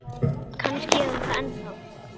Kannski er hún það ennþá.